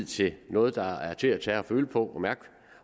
til noget der er til at tage at føle på